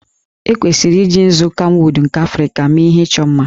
E kwesịrị iji nzu kamwụd nke Africa mee ihe ịchọ mma